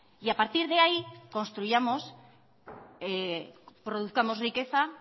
y a partir de ahí construyamos produzcamos riqueza